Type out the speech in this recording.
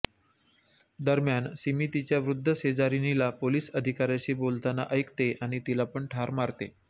दरम्यान सिमी तिच्या वृद्ध शेजारीणीला पोलिस अधिकाऱ्याशी बोलताना ऐकते आणि तिला पण ठार मारते